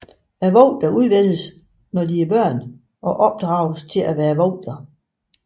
Vogterne udvælges når de er børn og opdrages til at være vogtere